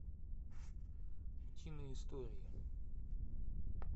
утиные истории